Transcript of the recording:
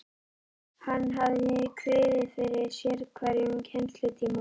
Hann hafði kviðið fyrir sérhverjum kennslutíma.